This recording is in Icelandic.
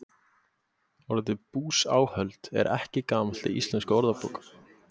Orðið búsáhöld er ekki gamalt í íslenskum orðabókum.